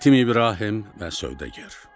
Yetim İbrahim və Sövdəgər.